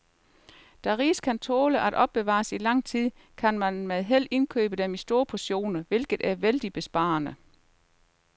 Da ris kan tåle at opbevares i lang tid, kan man med held indkøbe dem i store portioner, hvilket er vældigt besparende.